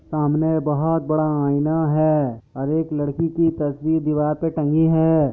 सामने बहुत बड़ा आइना है और एक लड़की की तस्वीर दीवार पे टंगी है।